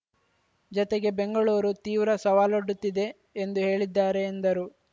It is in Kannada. ಜತೆಗೆ ಬೆಂಗಳೂರು ತೀವ್ರ ಸವಾಲೊಡ್ಡುತ್ತಿದೆ ಎಂದು ಹೇಳಿದ್ದಾರೆ ಎಂದರು